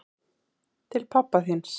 Til pabba þíns.